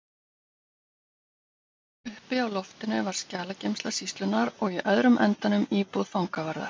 Uppi á loftinu var skjalageymsla sýslunnar og í öðrum endanum íbúð fangavarðar.